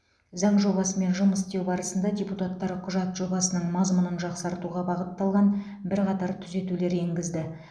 заң жобасымен жұмыс істеу барысында депутаттар құжат жобасының мазмұнын жақсартуға бағытталған бірқатар түзетулер енгізді